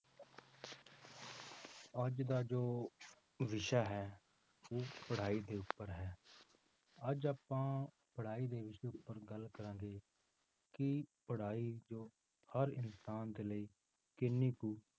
ਅੱਜ ਦਾ ਜੋ ਵਿਸ਼ਾ ਹੈ ਉਹ ਪੜ੍ਹਾਈ ਦੇ ਉੱਪਰ ਹੈ, ਅੱਜ ਆਪਾਂ ਪੜ੍ਹਾਈ ਦੇ ਵਿਸ਼ੇ ਉੱਪਰ ਗੱਲ ਕਰਾਂਗੇ, ਕਿ ਪੜ੍ਹਾਈ ਜੋ ਹਰ ਇਨਸਾਨ ਦੇ ਲਈ ਕਿੰਨੀ ਕੁ